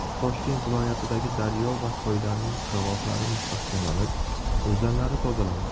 Toshkent viloyatidagi daryo va soylarning qirg‘oqlari mustahkamlanib, o‘zanlari tozalandi.